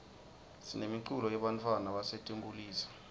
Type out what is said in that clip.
sinemiculo yebantfwana basetinkulisa